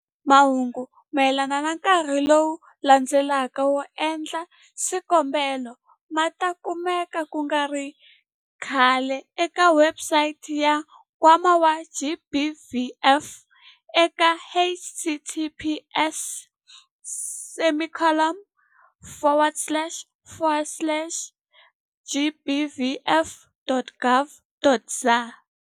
Mahungu mayelana na nkarhi lowu landzelaka wo endla swikombelo ma ta kumeka ku nga ri khale eka webusayiti ya Nkwama wa GBVF eka- https- gbvf.org.za.